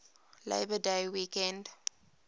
labor day weekend